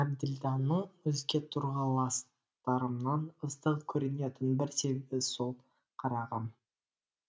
әбділданың өзге тұрғыластарымнан ыстық көрінетін бір себебі сол қарағым